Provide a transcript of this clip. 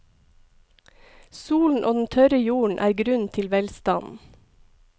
Solen og den tørre jorden er grunnen til velstanden.